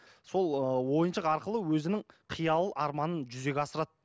сол ыыы ойыншық арқылы өзінің қиял арманын жүзеге асырады